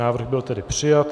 Návrh byl tedy přijat.